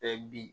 bin